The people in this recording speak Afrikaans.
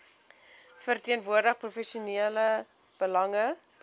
verteenwoordig provinsiale belange